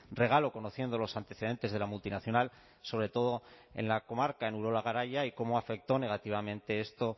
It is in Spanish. regalo conociendo los antecedentes de la multinacional sobre todo en la comarca en urola garaia y cómo afectó negativamente esto